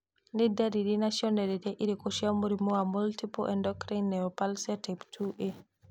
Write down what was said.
Nĩ ndariri na cionereria irĩkũ cia mũrimũ wa Multiple endocrine neoplasia type 2A?